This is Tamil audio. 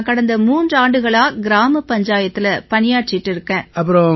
நான் கடந்த மூன்றாண்டுகளா கிராம பஞ்சாயத்தில பணியாற்றிக்கிட்டு வர்றேன்